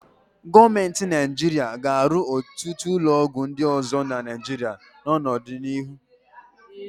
Gọọmenti Naịjirịa ga-ewu ọtụt ụlọọgwụ ndị ọzọ na Naịjirịa n'ọdịnihu.